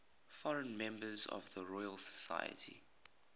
foreign members of the royal society